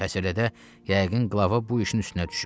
Pəs elədi, yəqin qlava bu işin üstünə düşüb.